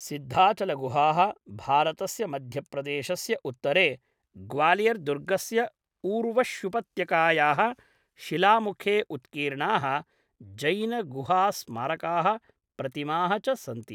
सिद्धाचलगुहाः भारतस्य मध्यप्रदेशस्य उत्तरे, ग्वालियर्दुर्गस्य ऊर्वश्युपत्यकायाः शिलामुखे उत्कीर्णाः जैनगुहास्मारकाः, प्रतिमाः च सन्ति।